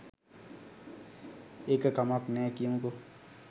ඒක කමක් නෑ කියමුකො